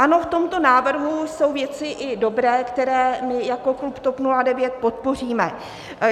Ano, v tomto návrhu jsou i věci dobré, které my jako klub TOP 09 podpoříme.